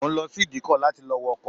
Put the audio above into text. Mo ń lọ sí ìdíkọ láti lọ wọ ọkọ̀